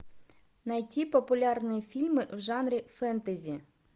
найти популярные фильмы в жанре фэнтези